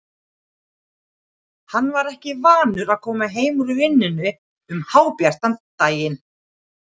Hann var ekki vanur að koma heim úr vinnunni um hábjartan daginn.